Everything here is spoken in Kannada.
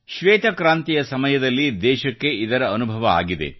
ಶ್ವೇತಕ್ರಾಂತಿಯ ರೂಪದಲ್ಲಿ ದೇಶಕ್ಕೆ ಇದರ ಅನುಭವವಾಗಿದೆ